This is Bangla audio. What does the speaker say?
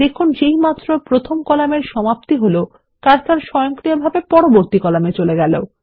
দেখুন যেইমাত্র প্রথম কলামের সমাপ্তি হল কার্সার স্বয়ংক্রিয়ভাবে পরবর্তী কলামে চলে গেল